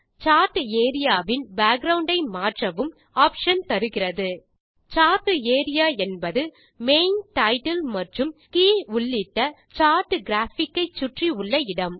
chart area வின் background ஐ மாற்றவும் ஆப்ஷன் தருகிறது சார்ட் ஏரியா என்பது மெயின் டைட்டில் மற்றும் கே உள்ளிட்ட சார்ட் கிராபிக் ஐ சுற்றி உள்ள இடம்